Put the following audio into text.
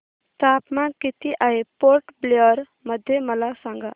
तापमान किती आहे पोर्ट ब्लेअर मध्ये मला सांगा